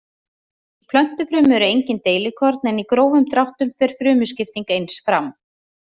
Í plöntufrumu eru engin deilikorn en í grófum dráttum fer frumuskipting eins fram.